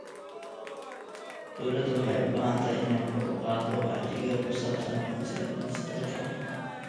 Dawladdu waxay u baahan tahay inay kor u qaaddo wacyiga ku saabsan aqoonsiga dhijitaalka ah.